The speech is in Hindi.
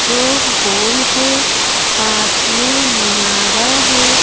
जो गोल है पास में मिनारा है।